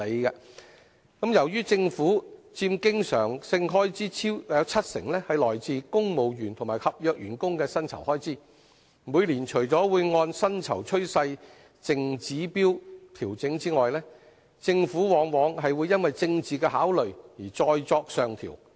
由於佔政府經常性開支超過七成都是公務員和合約員工的薪酬開支，每年除了會按薪酬趨勢淨指標調整外，政府往往會因政治考慮而再作上調。